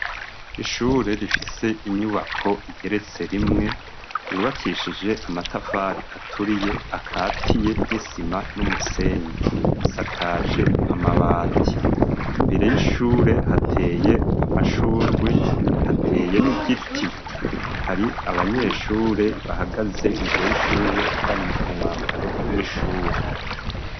Ishure rifise inyubako igeretse rimwe, yubakishije amatafari aturiye akatiye n'isima n'umusenyi, risakaje amabati, imbere y'ishure hateye amashurwi hateye n'igiti hari abanyeshure bahagaze e imbere y'ishube bari mu mwambaro w’ishure.